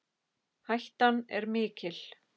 Hættan er mikil